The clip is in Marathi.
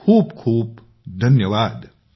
खूप खूप धन्यवाद